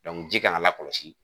ji kan ka lakɔlɔsi.